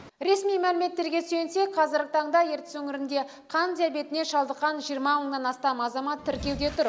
ресми мәліметтерге сүйенсек қазіргі таңда ертіс өңірінде қант диабетіне шалдыққан жиырма мыңнан астам азамат тіркеуде тұр